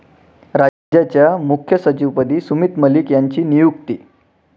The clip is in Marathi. राज्याच्या मुख्य सचिवपदी सुमित मलिक यांची नियुक्ती